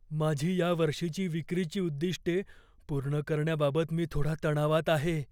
माझी या वर्षीची विक्रीची उद्दिष्टे पूर्ण करण्याबाबत मी थोडा तणावात आहे.